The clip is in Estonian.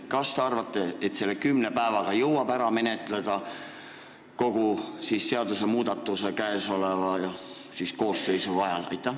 Kas te arvate, et selle kümne päevaga jõuab ära menetleda kogu seadusmuudatuse praeguse koosseisu ajal?